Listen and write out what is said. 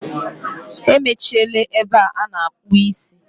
Emechiela ebe a na-akpụ isi.